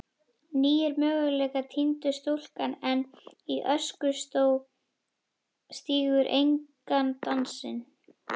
nýir möguleikar týndir stúlkan enn í öskustó stígur engan dansinn